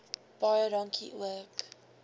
baie dankie ook